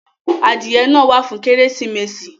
Adìẹ náà wà fún Kérésìmesì